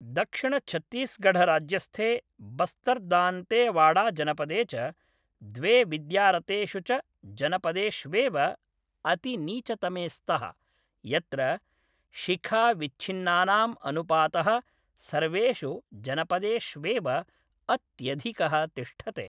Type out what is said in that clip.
दक्षिणछत्तीसगढराज्यस्थे बस्तर्दान्तेवाडाजनपदे च द्वे विद्यारतेषु च जनपदेष्वेव अतिनीचतमे स्तः, यत्र शिखाविच्छिन्नानाम् अनुपातः सर्वेषु जनपदेष्वेव अत्यधिकः तिष्ठते।